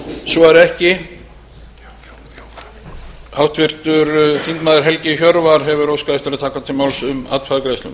svo er ekki háttvirtur þingmaður helgi hjörvar hefur óskað að taka til máls um atkvæðagreiðsluna